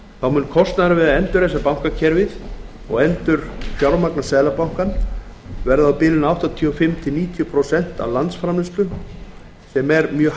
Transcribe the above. mun kostnaðurinn við að endurreisa bankakerfið og endurfjármagna seðlabankann verða á bilinu áttatíu og fimm til níutíu prósent af landsframleiðslu sem er mjög